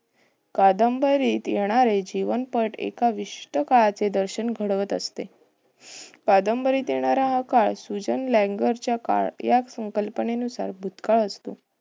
कादंबरीत येणारे जीवनपट एका विशिष्ट काळाचे दर्शन घडवीत असते. कादंबरीत येणार हा काळ, सुजन लाँगरचा काळ हा या संकल्पनेनुसार हा भूतकाळ असतो.